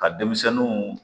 Ka denmisɛnninw